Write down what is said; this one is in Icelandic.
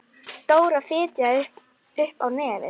Trúlega var kominn kúnni.